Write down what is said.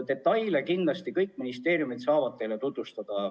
Detaile saavad kindlasti kõik ministeeriumid teile tutvustada.